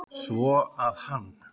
Svo að hann.